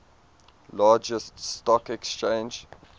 largest stock exchange